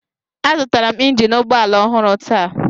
Azụtara m injin ụgbọ ala ọhụrụ taa.